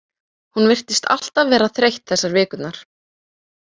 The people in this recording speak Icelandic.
Hún virtist alltaf vera þreytt þessar vikurnar.